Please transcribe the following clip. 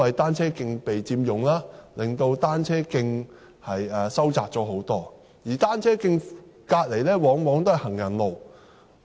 單車徑被佔用，導致單車徑範圍收窄，而單車徑旁邊往往是行人路。